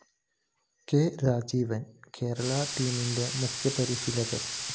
K രാജീവാണ് കേരള ടീമിന്റെ മുഖ്യപരിശീലകന്‍